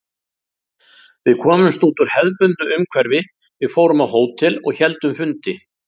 Við komumst út úr hefðbundnu umhverfi, við fórum á hótel og héldum fundi.